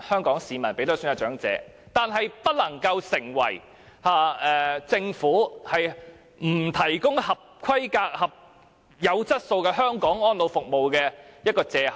但是，這不能夠成為政府不提供合規格、有質素的香港安老服務的借口。